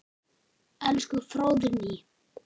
Elsku Fróðný.